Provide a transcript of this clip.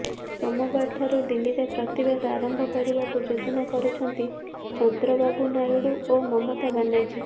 ସୋମବାର ଠାରୁ ଦିଲ୍ଲୀରେ ପ୍ରତିବାଦ ଆରମ୍ଭ କରିବାକୁ ଯୋଜନା କରୁଛନ୍ତି ଚନ୍ଦ୍ରବାବୁ ନାଇଡୁ ଓ ମମତା ବାନାର୍ଜୀ